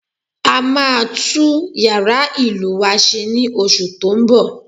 A máa tún yàrá ìlù wa se ní oṣù tó ń bọ̀